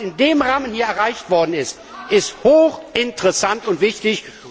Und was in dem Rahmen hier erreicht worden ist, ist hochinteressant und wichtig.